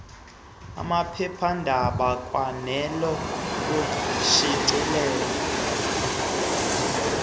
amaphephandaba kwanele ukushicilela